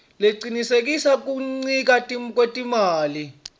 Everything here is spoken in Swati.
lecinisekisa kuncika ngekwetimali